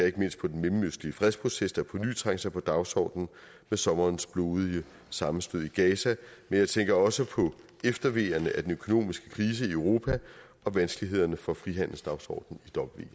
ikke mindst på den mellemøstlige fredsproces der påny trængte sig på dagsordenen med sommerens blodige sammenstød i gaza men jeg tænker også på efterveerne af den økonomiske krise i europa og vanskelighederne for frihandelsdagsordenen